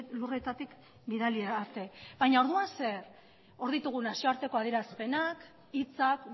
lurretatik bidali arte baina orduan zer hor ditugu nazioarteko adierazpenak hitzak